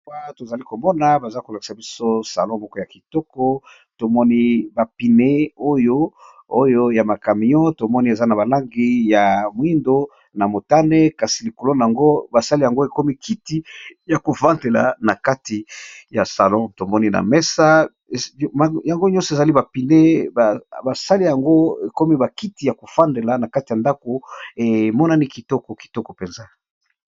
Tozali komona baza kolakisa biso salon moko ya kitoko tomoni bapine yooyo ya makamion tomoni eza na balangi ya moindo na motane kasi likolo na yango basali yango ekomi kiti ya kofandela na kati ya salon tomoni na mesa yango nyonso ezali bapine basali yango ekomi bakiti ya kofandela na kati ya ndako emonani kitoko kitoko mpenza.